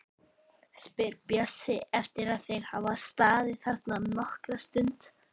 spyr Bjössi eftir að þeir hafa staðið þarna nokkra stund.